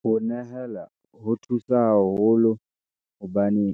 Ho nehela ho thusa haholo, hobane